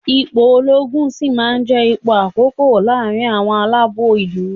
Ipò olóogun sì máa jẹ́ ipò àkókò láàrin àwọn aláàbò ìlú.